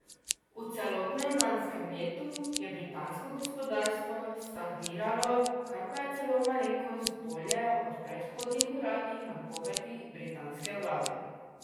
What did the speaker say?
V celotnem lanskem letu je britansko gospodarstvo stagniralo, kar pa je celo malenkost bolje od predhodnih uradnih napovedi britanske vlade.